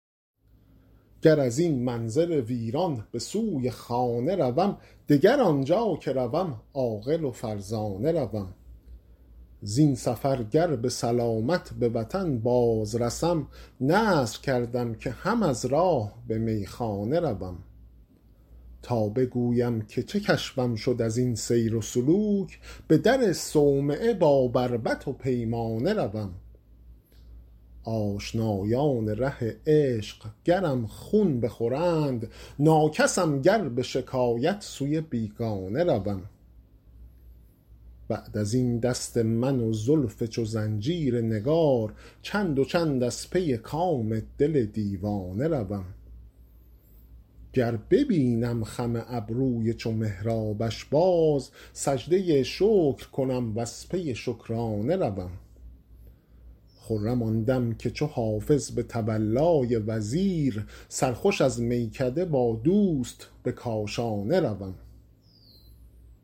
گر از این منزل ویران به سوی خانه روم دگر آنجا که روم عاقل و فرزانه روم زین سفر گر به سلامت به وطن باز رسم نذر کردم که هم از راه به میخانه روم تا بگویم که چه کشفم شد از این سیر و سلوک به در صومعه با بربط و پیمانه روم آشنایان ره عشق گرم خون بخورند ناکسم گر به شکایت سوی بیگانه روم بعد از این دست من و زلف چو زنجیر نگار چند و چند از پی کام دل دیوانه روم گر ببینم خم ابروی چو محرابش باز سجده شکر کنم و از پی شکرانه روم خرم آن دم که چو حافظ به تولای وزیر سرخوش از میکده با دوست به کاشانه روم